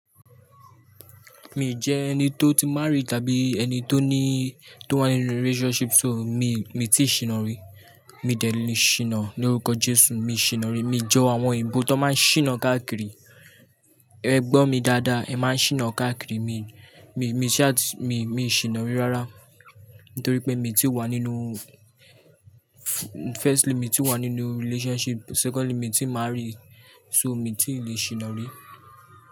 Mi jẹ́ ẹni tó ti márrí tàbí ẹni tó ní tó wà nínú relationship so mi, mi ti sìna re. Mi dẹ̀ lé ṣìnà ní órúkọ Jésù, mi ṣìnà ri. Mi jọ àwọn òyìnbó tó máa ń ṣìnà káàkiri. Ẹ gbọ́ mi dáadáa, ẹ máa ṣìnà káàkiri. Mi, mi, mi ṣe àt, mi, mi ṣìnà re rárá nítorí pé mi ti wà nínú firstly mi ti wà nínú relationship, secondly mi ti márrí so mi ti le ṣìnà ri.